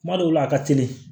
Kuma dɔw la a ka teli